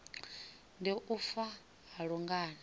ndi u fa ha lungano